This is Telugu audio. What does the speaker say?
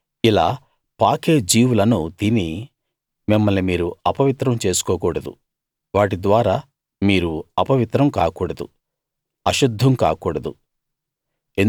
ఇలా పాకే జీవులను తిని మిమ్మల్ని మీరు అపవిత్రం చేసుకోకూడదు వాటి ద్వారా మీరు అపవిత్రం కాకూడదు అశుద్ధం కాకూడదు